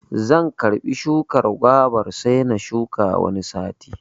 Zan karɓa shukar gwabar sai na shuka Wani sati.